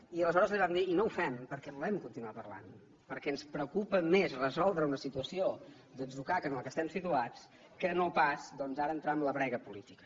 i aleshores li vam dir i no ho fem perquè volem continuar parlant perquè ens preocupa més resoldre una situació d’atzucac en què estem situats que no pas ara entrar en la brega política